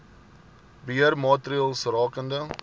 beheer maatreëls rakende